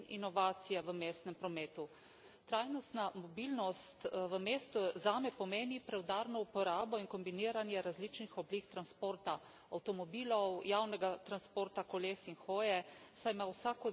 Trajnostna mobilnost v mestu zame pomeni preudarno uporabo in kombiniranje različnih oblik transporta avtomobilov, javnega transporta, koles in hoje, saj ima vsak od njih tako prednosti kot slabosti.